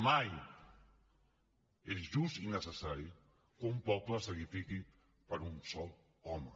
mai és just i necessari que un poble se sacrifiqui per un sol home